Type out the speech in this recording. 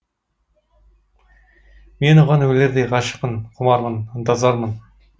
мен оған өлердей ғашықпын құмармын ынтызармын